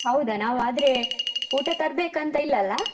ಹೌದ ನಾವು ಆದ್ರೆ ಊಟ ತರ್ಬೇಕಂತ ಇಲ್ಲ ಅಲ?